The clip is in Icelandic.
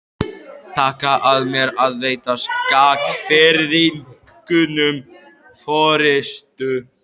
Taka að mér að veita Skagfirðingum forystu.